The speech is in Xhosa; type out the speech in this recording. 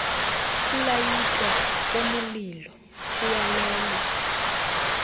ukulayitwa kwemililo kuyalelwa